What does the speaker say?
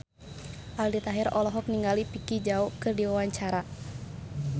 Aldi Taher olohok ningali Vicki Zao keur diwawancara